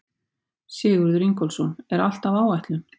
Sigurður Ingólfsson: Er allt á áætlun?